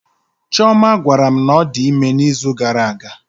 Chioma gwara mụ na ọ dị ime na izu gara aga